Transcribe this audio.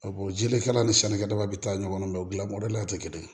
jelikɛlan ni sannikɛlaw bɛ taa ɲɔgɔn na u dilan mɔdɛli tɛ kelen ye